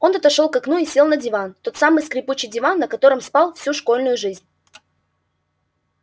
он отошёл к окну и сел на диван тот самый скрипучий диван на котором спал всю школьную жизнь